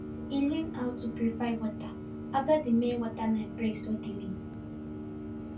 he learn how to purify water after the main water line break suddenly